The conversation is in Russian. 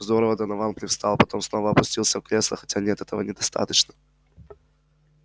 здорово донован привстал потом снова опустился в кресло хотя нет этого недостаточно